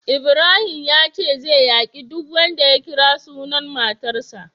Ibrahim yace zai yaki duk wanda ya kira sunan matarsa.